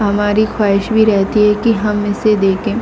हमारी ख्वाहिश भी रहती है कि हम इसे देखे।